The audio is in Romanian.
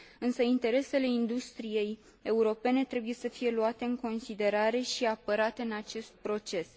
Însă interesele industriei europene trebuie să fie luate în considerare și apărate în acest proces.